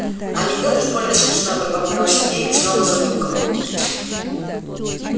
анекдот уж больно смешной пробормотал сергей и снова забулькал